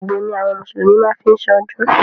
Àgbò ni àwọn mùsùlùmí má ń fí ṣọdún.